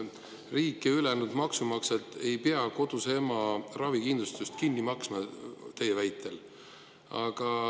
Riik ja ülejäänud maksumaksjad ei pea koduse ema ravikindlustust kinni maksma teie väitel.